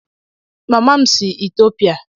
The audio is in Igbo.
Mama m si Etiopia